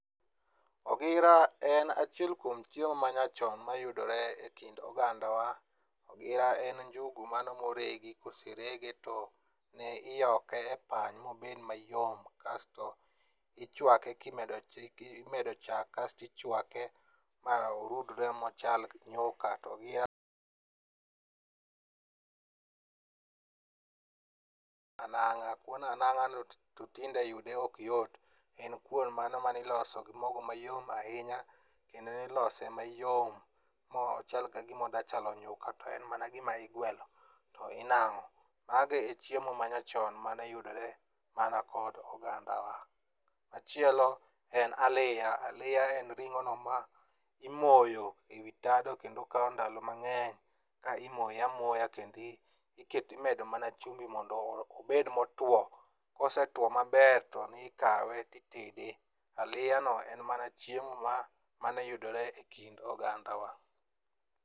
Ogira en achiel kuom chiemo manyachon mayudore e kind ogandawa. Ogira en njugu mano moregi koserege to ne iyoke e pany mobed mayom kasto imedo chak kasto ichwake ma orudre ma ochal nyuka to ogira. Kuon anang'a no to tinde yude ok yot en kuon mano maniloso gi mogo mano mayom ahinya kendo nilose mayom mochal ga gima odachalo nyuka to en mana gimiguelo to inang'o. Mago e chiemo manyachon mane yudore mana kod ogandawa. Machielo en aliya. Aliya en ring'ono ma imoyo e wi tado kendo kawo ndalo mang'eny ka imoye amoya kendi imedo mana chumbi mondo obed motwo kosetwo maber to nikawe titede. Aliyano en mana chiemo mane yudore e kind ogandawa.